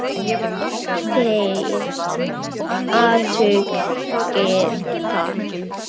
Þér athugið það.